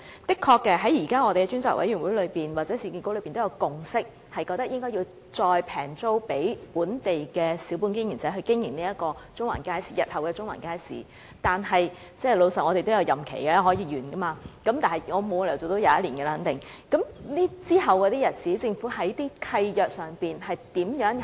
在我們現時的專責委員會或市建局確實已有共識，認為應以廉宜租金租給本地小本經營者經營日後的中環街市，但老實說，我們也有任期，任期會完結，我肯定沒有理由可以做21年，那麼在其後的日子，政府在契約上會怎樣做？